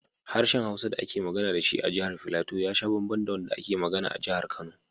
Harshen Hausa da ake magana da shi a Jihar Filato ya sha bamban da wanda ake magana a Jihar Kano.